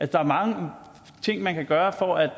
der er mange ting man kan gøre for at